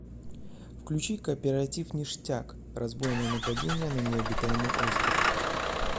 включи кооперативништяк разбойное нападение на необитаемый остров